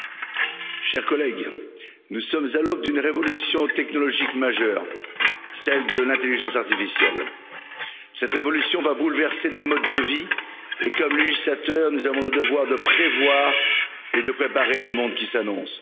Monsieur le Président, chers collègues, nous sommes à l'aube d'une révolution technologique majeure, celle de l'intelligence artificielle. Cette révolution va bouleverser nos modes de vie et nous avons, comme législateurs, le devoir de prévoir et de préparer le monde qui s'annonce.